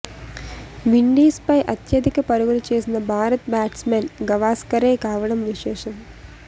విండీస్పై అత్యధిక పరుగులు చేసిన భారత బ్యాట్స్మన్ గవాస్కరే కావడం విశేషం